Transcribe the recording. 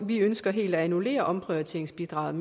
vi ønsker helt at annullere omprioriteringsbidraget